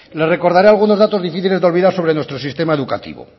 le recordaré algunos datos difíciles de olvidar sobre nuestro sistema educativo